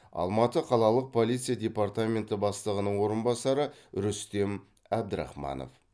алматы қалалық полиция департаменті бастығының орынбасары рүстем әбдірахманов